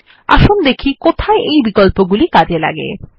আসুন দেখি কোথায় এই বিকল্পগুলি কাজে লাগে